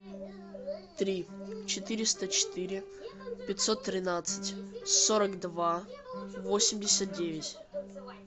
три четыреста четыре пятьсот тринадцать сорок два восемьдесят девять